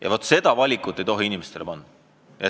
Ja vaat seda valikut ei tohi inimestelt nõuda.